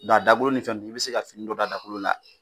Dɔn a daolo ni fɛn nunnu i bi se ka fini dɔ d'a dagolo la